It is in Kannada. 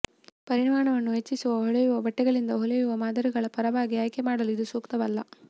ಪರಿಮಾಣವನ್ನು ಹೆಚ್ಚಿಸುವ ಹೊಳೆಯುವ ಬಟ್ಟೆಗಳಿಂದ ಹೊಲಿಯುವ ಮಾದರಿಗಳ ಪರವಾಗಿ ಆಯ್ಕೆ ಮಾಡಲು ಇದು ಸೂಕ್ತವಲ್ಲ